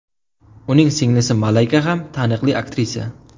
Uning singlisi Malayka ham taniqli aktrisa.